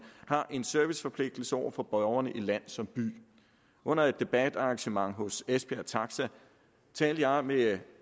har en serviceforpligtigelse over for borgerne i såvel land som by under et debatarrangement hos esbjerg taxa talte jeg med